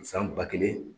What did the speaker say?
San ba kelen